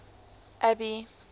abby